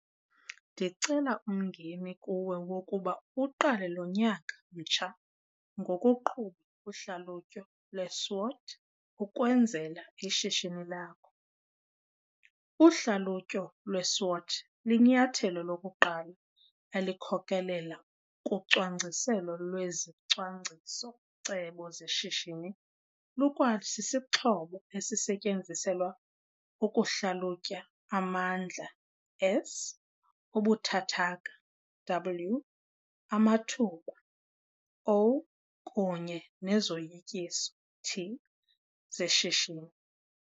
Ndicela umngeni kuwe wokuba uqale lo nyaka mtsha ngokuqhuba uhlalutyo lweSWOT ukwenzela ishishini lakho. Uhlalutyo lweSWOT linyathelo lokuqala elikhokelela kucwangciselo lwezicwangciso-cebo zeshishini lukwasisixhobo esisetyenziselwa ukuhlalutya amandla, S, ubuthathaka, W, amathuba, O, kunye nezoyikiso, T, zeshishini.